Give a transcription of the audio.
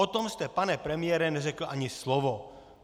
O tom jste, pane premiére, neřekl ani slovo.